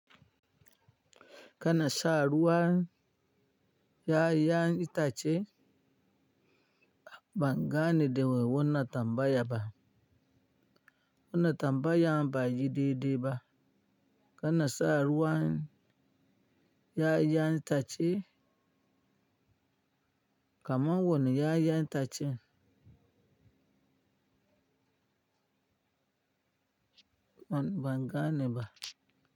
Kana sa ruwan 'ya'yan itace, ban gane da wai wannan tambaya ba. Wannan tambayan bai yi daidai ba. Kana sa ruwan ƴaƴan itace kama wannan 'ya'yan itacen ban gane ba.